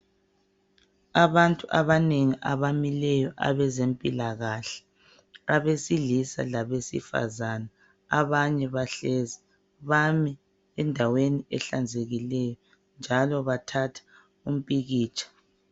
abantu abanengi abamileyo abezempilakahle abesilisa labesifazana abanye bahlezi bami endaweni ehlanzekileyo njalo bathatha umpikitsha